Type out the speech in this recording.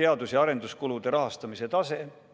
teadus- ja arenduskulude rahastamisel taset 1% SKP-st.